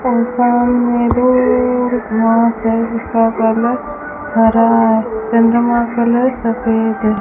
और सामने दूर कलर हरा है चंद्रमा कलर सफेद है।